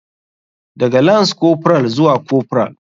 Daga lance corporal zuwa corporal.